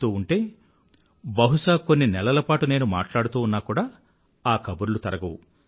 చెప్తూ ఉంటే బహుశా కొన్ని నెలల పాటు నేను మాట్లాడుతూ ఉన్నా కూడా ఆ కబుర్లు తరగవు